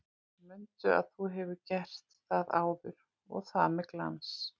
Mundu að þú hefur gert það áður og það með glans!